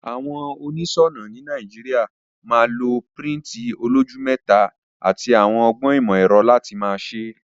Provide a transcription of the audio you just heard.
Àwon onísònà ni Naijiria ma lọ pirinti oloju meta àti àwon ogbón ìmò èro láti ma se.